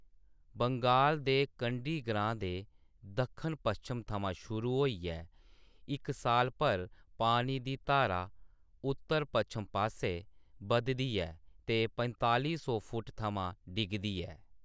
बंगाल दे कंडी ग्रां दे दक्खन-पच्छम थमां शुरू होइयै इक साल भर पानी दी धारा उत्तर-पच्छम पासै बधदी ऐ ते पंताली सौ फुट्ट थमां डिगदी ऐ।